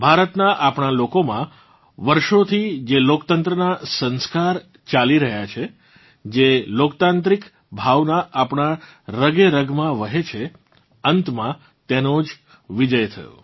ભારતનાં આપણાં લોકોમાં વર્ષોથી જે લોકતંત્રનાં સંસ્કાર ચાલી રહ્યાં છે જે લોકતાંત્રિક ભાવના આપણાં રગેરગમાં વહે છે અંતમાં તેનો જ વિજયી થયો